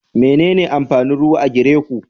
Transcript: Menene amfanin ruwa a gere ku?